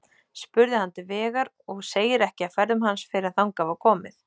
Spurði hann til vegar, og segir ekki af ferðum hans fyrr en þangað var komið.